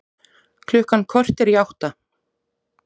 Klukkan korter í átta